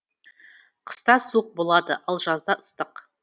қыста суық болады ал жазда ыстық